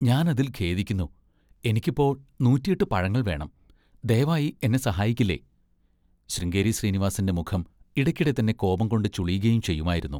ഞാനതിൽ ഖേദിക്കുന്നു. എനിക്കിപ്പോൾ നൂറ്റി എട്ട് പഴങ്ങൾ വേണം. ദയവായി എന്നെ സഹായിക്കില്ലേ? ശൃംഗേരി ശ്രീനിവാസിൻ്റെ മുഖം ഇടയ്ക്കിടെതന്നെ കോപംകൊണ്ട് ചുളിയുകയും ചെയ്യുമായിരുന്നു.